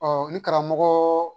ni karamɔgɔ